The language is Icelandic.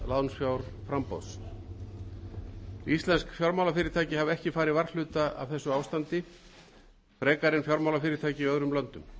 vegna takmarkaðs lánsfjárframboðs íslensk fjármálafyrirtæki hafa ekki farið varhluta af þessu ástandi frekar en fjármálafyrirtæki í öðrum löndum